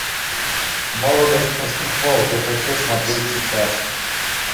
молодость по страховке хочу смотреть сейчас